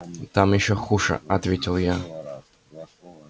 там ещё хуже ответил я